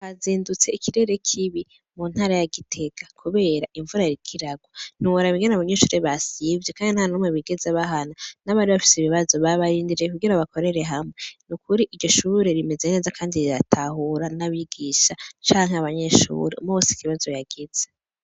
Hazindutse ikirere kibi mu ntara ya Gitega kubera imvura yariko iragwa ntiworaba ingene abanyeshure basivye kandi ntanumwe bigeze bahana n' abari bafise ibibazo babarindiriye kugira bakorere hamwe nukuri iryo shuri rimeze kandi riratahura n' abigisha canke abanyeshure umwe wese ikibazo yagize.